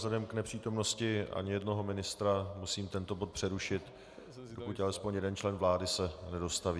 Vzhledem k nepřítomnosti ani jednoho ministra musím tento bod přerušit dokud alespoň jeden člen vlády se nedostaví.